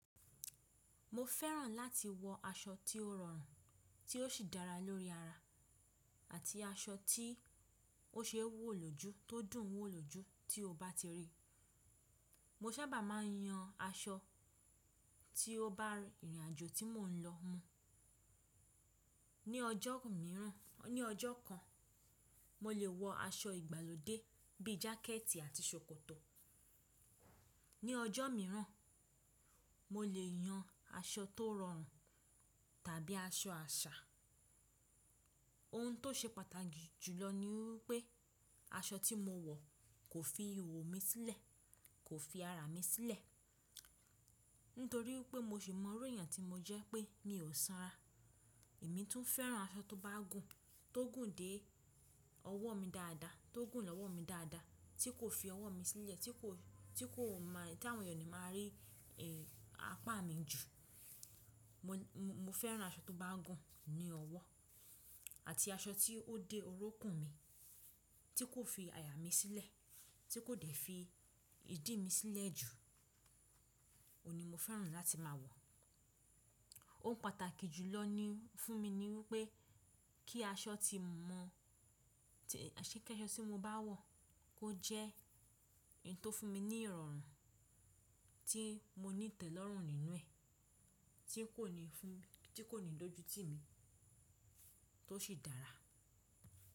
Mo fẹ́ràn láti wọ aṣọ tí ó rọrùn, tí ó sì dára lórí ara, àti aṣọ tí ó ṣe wòlòjú tó dùn wòlòjú tí o bá ti rí. Mo sábà máa ń yan aṣọ tí ó bá ìrìnàjò tí mò ń lọ mu. Ni ọjọ́ kan, mo lè wọ aṣọ ìgbàlódé bíi jákẹ́ẹ̀tì àti ṣòkòtò. Ni ọjọ́ mìíràn, mo lè yan aṣọ tó rọrùn tàbí aṣọ àṣà. Ohun tó ṣe pàtàkì jùlọ ní wípé aṣọ tí mo wọ kò fi ihohò mi sílẹ̀, kò fi ara mi sílẹ̀, nítorí wípé mo sì mọ iru ẹ̀yàn tí mo jẹ́ pé mi ò sanra. Èmi tún fẹ́ràn aṣọ tó bá gùn, tó gùn dé ọwọ́ mi dáadáa, tó gùn lọ́wọ́ mi dáadáa tí kò fi ọwọ́ mi sílẹ̀, tí kò má, tí àwọn èèyàn máa rí, ẹ́, apá mi jù. Mo, mo fẹ́ràn aṣọ tó bá gùn ní ọwọ́ àti aṣọ tí ó dé orúnkún mi, tí kò fi àyà mi sílẹ̀, tí kò dé fi ìdí mi sílẹ̀ jù. Ó ní mo fẹ́ràn láti máa wọ̀. Ohun pàtàkì jùlọ ní, fún mi ní wípé kí aṣọ tí mò ń, ṣé kí aṣọ tí mo bá wọ̀ kó jẹ́ ohun tó fún mi ní ìrọ̀rùn tí mo ní ìtẹ́lọ́rùn nínú ẹ̀, tí kò ní fún, tí kò ní dójú ti mi, tó sì dára.